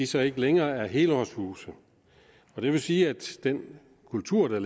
så ikke længere er helårshuse det vil sige at den kultur der